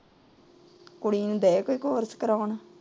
ਕੁੜੀ ਨੂੰ ਗਏ ਸੀ ਕੋਰਸ ਕਰਾਉਣ।